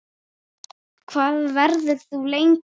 Hvað verður þú lengi?